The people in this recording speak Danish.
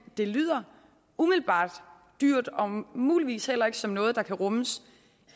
det lyder umiddelbart dyrt og muligvis heller ikke som noget der kan rummes